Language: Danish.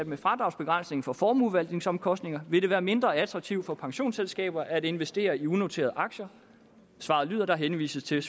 med fradragsbegrænsningen for formueforvaltningsomkostninger vil være mindre attraktivt for pensionsselskaber at investere i unoterede aktier svaret lyder der henvises til